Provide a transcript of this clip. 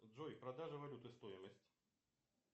джой продажа валюты стоимость